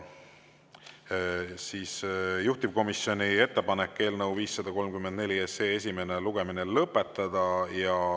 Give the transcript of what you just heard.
Juhtivkomisjoni ettepanek on eelnõu 534 esimene lugemine lõpetada.